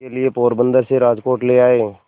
के लिए पोरबंदर से राजकोट ले आए